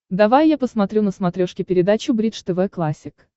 давай я посмотрю на смотрешке передачу бридж тв классик